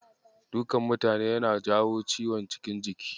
Dukan mutane yana jawo ciwon cikin jiki.